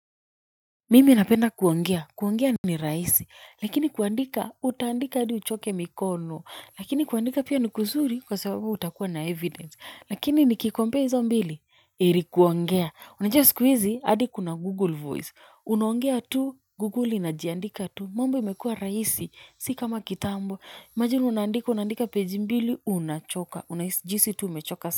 Mimi napenda kuongea, kuongea ni rahisi, lakini kuandika, utaandika adi uchoke mikono, lakini kuandika pia ni kuzuri kwa sababu utakuwa na evidence, lakini niki compare hizo mbili, heri kuongea, unajua sikuhizi, hadi kuna google voice, unaongea tu, google inajiandika tu, mambo imekua rahisi, si kama kitambo, imagine unaandika, unaandika page mbili, unachoka, unahisi, jihisi tu umechoka.